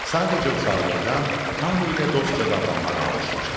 Sadəcə uşaqlıqdan hamı ilə dostca davranmağa alışmışdı.